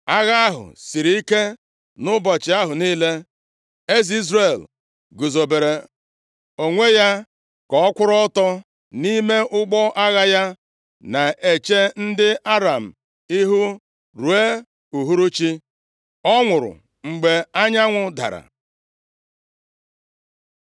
Agha ahụ siri ike nʼụbọchị ahụ niile. Eze Izrel guzobere onwe ya ka ọ kwụrụ ọtọ nʼime ụgbọ agha ya na-eche ndị Aram ihu ruo uhuruchi. Ọ nwụrụ mgbe anyanwụ dara.